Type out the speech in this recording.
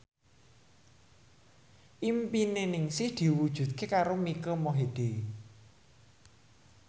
impine Ningsih diwujudke karo Mike Mohede